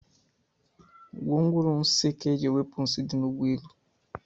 Gwongworo nsi kaa eji ewepu nsi di n'ụgbọelụ